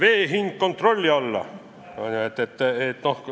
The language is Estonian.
"– Heimar Lenk oli täna ka küsija, ta mäletab seda.